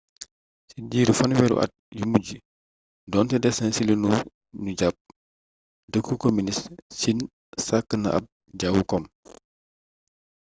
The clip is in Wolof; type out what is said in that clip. ci diiru fanweeri at yu mujj doonte des na ci lu nu jàpp dëkku kominist siin sàkk na ab jawu kom